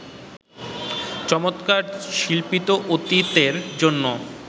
চমৎকার শিল্পিত অতীতের জন্য